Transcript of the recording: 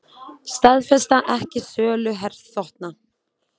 Staðfesta ekki sölu herþotna